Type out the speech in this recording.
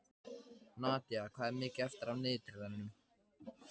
Nadía, hvað er mikið eftir af niðurteljaranum?